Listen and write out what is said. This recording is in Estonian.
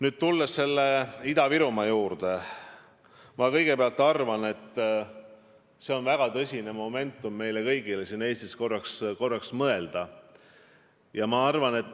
Nüüd, tulles Ida-Virumaa juurde, ma kõigepealt arvan, et käes on väga tõsine moment, mil me kõik siin Eestis peame sellele probleemile mõtlema.